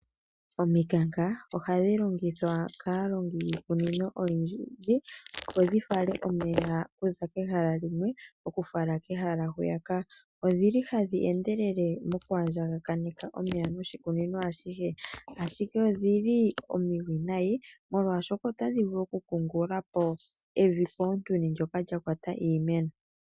Omikanka ohadhi longithwa kaalongi uunene oyendji , opo dhi fale omeya okuza pehala limwe okufala kehala hwiyaka. Odhili hadhi endelele moku andjakaneka omeya moshikunino ashihe. Ashike odhili omiwinayi molwaashoka otadhi vulu okukungulula po evi koontuni lyoka lya kwata iimeno.